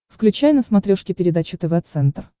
включай на смотрешке передачу тв центр